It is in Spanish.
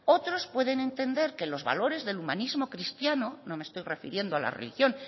otros pueden entender que los valores del humanismo cristiano no me estoy refiriendo a la religión